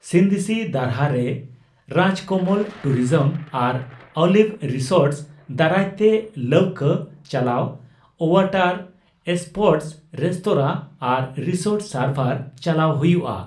ᱠᱷᱤᱱᱫᱥᱤ ᱫᱟᱨᱦᱟ ᱨᱮ ᱨᱟᱡᱽᱠᱚᱢᱚᱞ ᱴᱩᱨᱤᱡᱚᱢ ᱟᱨ ᱚᱞᱤᱵᱷ ᱨᱤᱥᱳᱨᱴᱥ ᱫᱟᱨᱟᱭ ᱛᱮ ᱞᱟᱣᱠᱟᱹ ᱪᱟᱞᱟᱣ, ᱳᱣᱟᱴᱟᱨ ᱮᱥᱯᱳᱨᱴᱚᱥ, ᱨᱮᱥᱛᱳᱨᱟ ᱟᱨ ᱨᱤᱥᱳᱨᱴ ᱥᱟᱨᱵᱷᱟᱨ ᱪᱟᱞᱟᱣ ᱦᱩᱭᱩᱜᱼᱟ ᱾